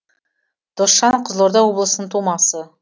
досжан қызылорда облысының тумасы